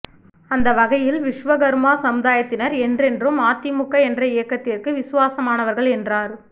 அந்த வகையில் விஸ்வகர்மா சமுதாயத்தினர் என்றென்றும் அதிமுக என்ற இயக்கத்திற்கு விசுவாசமானவர்கள் என்றார்